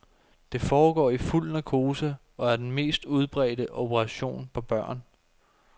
Det foregår i fuld narkose og er den mest udbredte operation på børn.